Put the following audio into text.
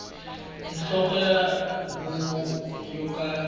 nhloko ya huvo yo ka